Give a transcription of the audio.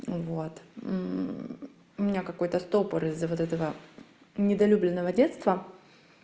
вот у меня какой-то стопор из-за вот этого недолюбленного детства